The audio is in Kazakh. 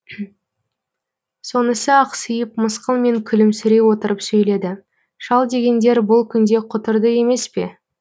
сонысы ақсиып мысқылмен күлімсірей отырып сөйледі шал дегендер бұл күнде құтырды емес пе